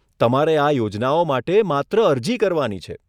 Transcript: તમારે આ યોજનાઓ માટે માત્ર અરજી કરવાની છે.